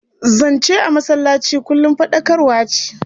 Zance a masallaci kullum faɗakarwa ce.